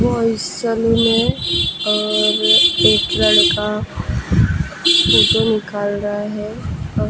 और इस सैलून में और एक लड़का फोटो निकाल रहा है।